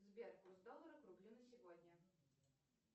сбер курс доллара к рублю на сегодня